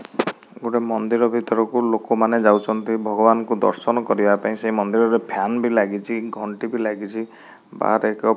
ଗୋଟେ ମନ୍ଦିର ଭିତରକୁ ଲୋକମାନେ ଯାଉଚନ୍ତି ଭଗବାନଙ୍କୁ ଦର୍ଶନ କରିଆ ପାଇଁ ସେଇ ମନ୍ଦିରରେ ଫ୍ୟାନ ବି ଲାଗିଚି ଘଣ୍ଟି ବି ଲାଗିଚି ବାହାରେ ଏକ --